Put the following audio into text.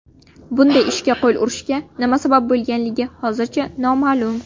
Bunday ishga qo‘l urishga nima sabab bo‘lganligi hozircha noma’lum.